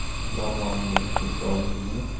Barmog‘ingizni kesib oldingizmi?